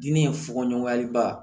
Diinɛ in fogo ɲɔgɔnyaliba